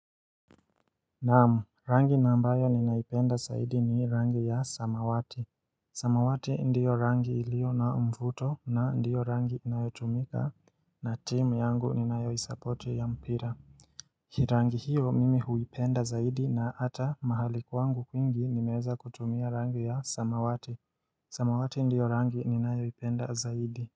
Naam, rangi ambayo ninaipenda zaidi ni rangi ya samawati. Samawati ndiyo rangi ilio na uvmvuto na ndiyo rangi inayotumika na team yangu ninayoisapoti ya mpira. Hii rangi hiyo mimi huipenda zaidi na ata mahali kwangu kwingi nimeweza kutumia rangi ya samawati. Samawati ndiyo rangi ninayoipenda zaidi.